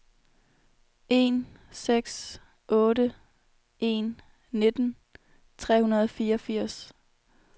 en seks otte en nitten tre hundrede og fireogfirs